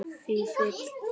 Vífill og Katrín.